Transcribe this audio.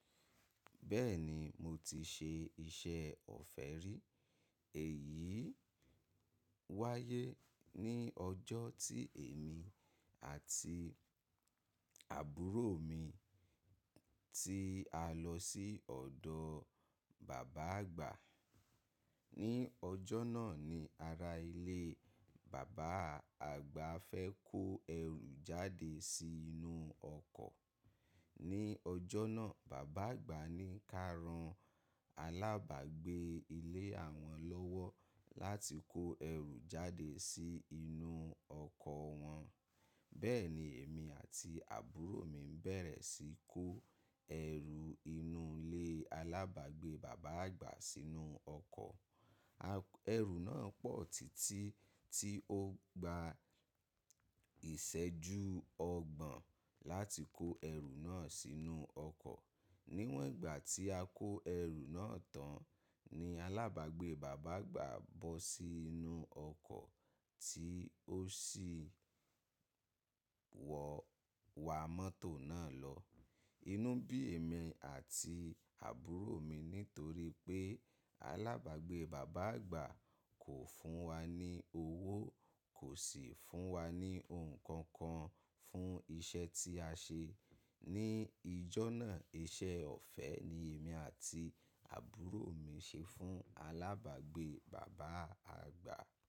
Bẹ́ẹ̀ni, mo ti ṣe iṣẹ́ ọ̀fẹ́ rí. Èyí wáyé ní ọjọ́ tí èmi àti àbúrò mi tí a lọ sí ọ̀dọ̀ bàbá àgbà. Ni ọjọ́ náà ni ará ilé bàbá àgbà fẹ́ kó ẹrù jáde sí inú ọkọ̀. Ni ọjọ́ náà, bàbá àgbà ní ká ran alábàgbé ilé àwọn lọ́wọ́ láti kó ẹrù jáde sí inú ọkọ̀ wọn. Bẹ́ẹ̀ ni èmi àti àbúrò mi bẹ̀rẹ̀ sí í kó ẹrù inú ilé alábàgbé bàbá àgbà sínú ọkọ̀. Erù náà pọ̀ títí tí ó gba ìṣẹ́jú ọgbọ̀n láti kó ẹrù náà sínú ọkọ̀. Níwòn ìgbà tí a kó ẹrù náà tán ni alábàgbé bàbá àgbà bọ́ sí inú ọkọ̀ tí ó sì wọ̀ wá mọ́tò náà lọ. Inú bí èmi àti àbúrò mi nítorí pé alábàgbé bàbá àgbà kò fún wa ní owó, kò sì fún wa ní ohunkókan fún iṣẹ́ tí a ṣe. Ni ijọ́ náà, iṣẹ́ ọ̀fẹ́ ni èmi àti àbúrò mi ṣe fún alábàgbé bàbá àgbà.